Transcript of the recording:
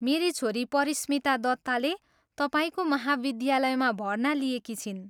मेरी छोरी परिस्मिता दत्ताले तपाईँको महाविद्यालयमा भर्ना लिएकी छिन्।